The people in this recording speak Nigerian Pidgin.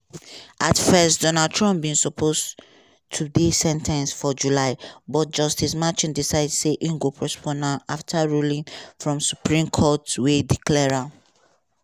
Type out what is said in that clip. at first trump bin supposed to dey sen ten ced for july but justice merchan decide say im go postpone afta ruling from supreme court wey declare